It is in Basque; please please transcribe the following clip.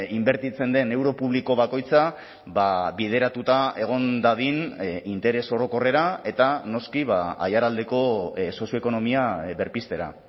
inbertitzen den euro publiko bakoitza bideratuta egon dadin interes orokorrera eta noski aiaraldeko sozioekonomia berpiztera